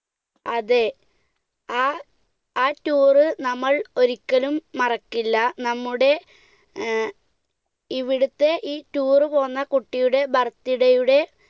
അതെ, ആ~ആ tour നമ്മൾ ഒരിക്കലും മറക്കില്ല, നമ്മുടെ ഏർ ഇവിടുത്തെ ഈ tour പോന്ന കുട്ടിയുടെ birthday യുടെ